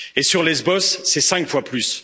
Sur Lesbos, c'est cinq fois plus.